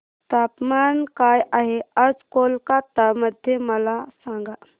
तापमान काय आहे आज कोलकाता मध्ये मला सांगा